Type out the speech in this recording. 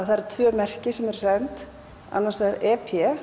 það eru tvö merki sem eru send annars vegar